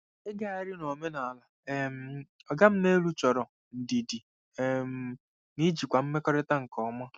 Ịgagharị n'omenala um “oga m n'elu” chọrọ ndidi um na ijikwa mmekọrịta nke ọma.